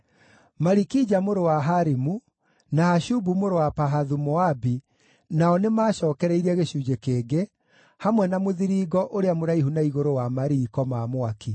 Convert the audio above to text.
Malikija mũrũ wa Harimu, na Hashubu mũrũ wa Pahathu-Moabi nao nĩmacookereirie gĩcunjĩ kĩngĩ, hamwe na Mũthiringo ũrĩa mũraihu na igũrũ wa Mariiko ma Mwaki.